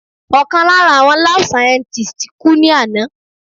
Ọ̀kan lára àwọn lab scientists kú ní àná.